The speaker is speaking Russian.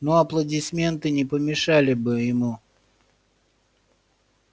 но аплодисменты не помешали бы ему